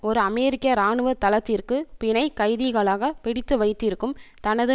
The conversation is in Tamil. ஒரு அமெரிக்க இராணுவ தளத்திற்கு பிணைக்கைதிகளாக பிடித்து வைத்திருக்கும் தனது